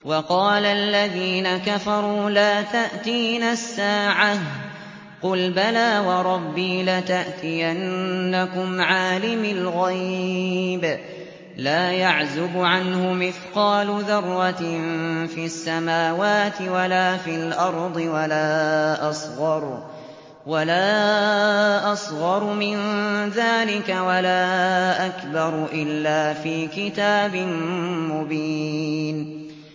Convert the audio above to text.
وَقَالَ الَّذِينَ كَفَرُوا لَا تَأْتِينَا السَّاعَةُ ۖ قُلْ بَلَىٰ وَرَبِّي لَتَأْتِيَنَّكُمْ عَالِمِ الْغَيْبِ ۖ لَا يَعْزُبُ عَنْهُ مِثْقَالُ ذَرَّةٍ فِي السَّمَاوَاتِ وَلَا فِي الْأَرْضِ وَلَا أَصْغَرُ مِن ذَٰلِكَ وَلَا أَكْبَرُ إِلَّا فِي كِتَابٍ مُّبِينٍ